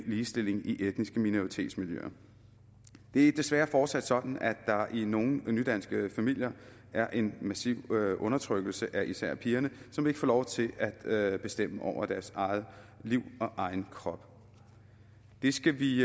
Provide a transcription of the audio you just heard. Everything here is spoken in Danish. ligestilling i etniske minoritetsmiljøer det er desværre fortsat sådan at der i nogle nydanske familier er en massiv undertrykkelse af især pigerne som ikke får lov til at bestemme over deres eget liv og egen krop det skal vi